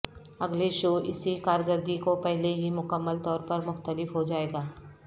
اگلے شو اسی کارکردگی کو پہلے ہی مکمل طور پر مختلف ہو جائے گا